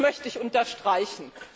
Das möchte ich unterstreichen.